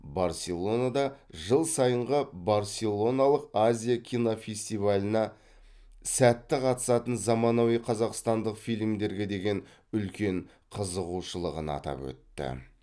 барселонада жыл сайынғы барселоналық азия кинофестиваліна сәтті қатысатын заманауи қазақстандық фильмдерге деген үлкен қызығушылығын атап өтті